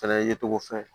Fɛnɛ ye cogo fɛ